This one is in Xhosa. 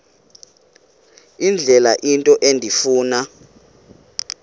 indlela into endifuna